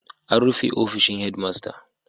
An rufe ofishin Headmaster.